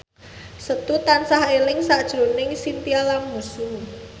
Setu tansah eling sakjroning Chintya Lamusu